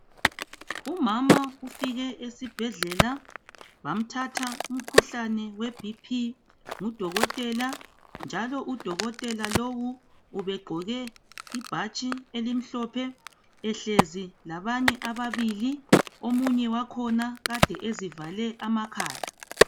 Umama ufike esibhedlela bamthatha umkhuhlane weBP ngudokotela njalo udokotela lowo ubegqoke ibhatshi elimhlophe ehlezi labanye ababili omunye wakhona kade ezivale amakhala.